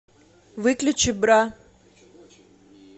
выключи бра